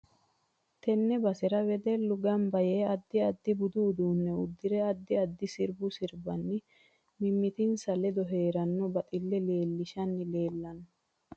Tenne basera wedellu ganba yee addi addi budu uduune uddirre addi addi sirbba sirbanni mimitinsa ledo heerano baxille leelishanni leelanno